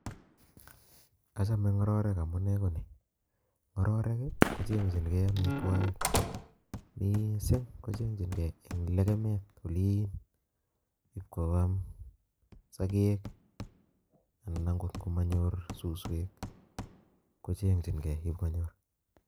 Achame ng'ororek amu chutok kochengengjinkei amitwokik eng olatugul akoi ipkonyor icheket eng kimoswek cheter ter